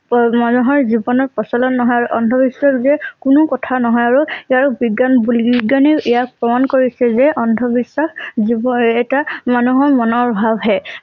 পমানুহৰ জীৱনৰ প্ৰচলন নহয় আৰু অন্ধবিশ্বাস যে কোনো কথা নহয় আৰু ইয়াৰ বিজ্ঞান বুলি বিজ্ঞানে ইয়াক প্ৰমাণ কৰিছে যে অন্ধ বিশ্বাস যিবোৰ এটা মানুহৰ মনৰ ভাব হে ।